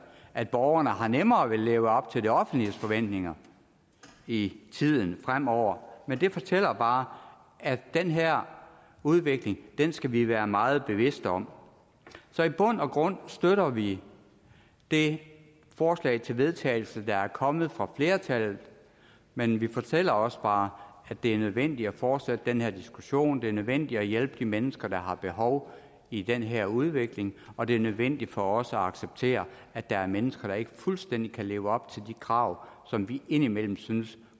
at borgerne har nemmere ved at leve op til det offentliges forventninger i tiden fremover men det fortæller bare at den her udvikling skal vi være meget bevidste om så i bund og grund støtter vi det forslag til vedtagelse der er kommet fra flertallet men vi fortæller også bare at det er nødvendigt at fortsætte den her diskussion det er nødvendigt at hjælpe de mennesker der har behov i den her udvikling og det er nødvendigt for os at acceptere at der er mennesker der ikke fuldstændig kan leve op til de krav som vi indimellem synes